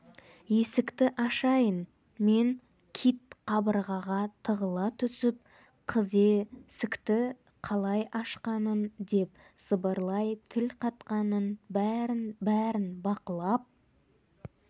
есікті ашайын мен кит қабырғаға тығыла түсіп қызе сікті қалай ашқанын деп сыбырлай тіл қатқанын бәрін-бәрін бақылап